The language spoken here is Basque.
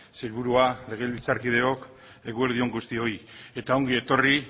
sailburua legebiltzarkideok eguerdi on guztioi eta ongi etorri